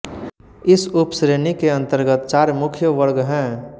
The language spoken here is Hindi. इस उपश्रेणी के अंतर्गत चार मुख्य वर्ग हैं